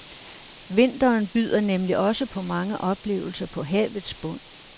Vinteren byder nemlig også på mange oplevelser på havets bund.